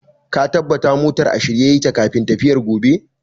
Ka tabata motan a shirye yake kafin tafiyar gobe!